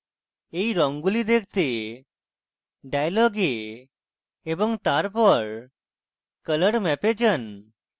এই রঙগুলি দেখতে dialog এ এবং colormap এ যান